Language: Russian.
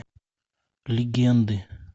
легенды